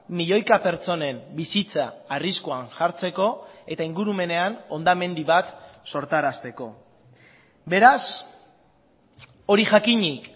milioika pertsonen bizitza arriskuan jartzeko eta ingurumenean hondamendi bat sortarazteko beraz hori jakinik